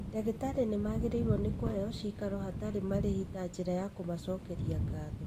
Dagĩtarĩ nĩmagĩrĩirwo nĩ kũheo cikaro hatarĩ marĩhi ta njĩra ya kũmacokeria ngatho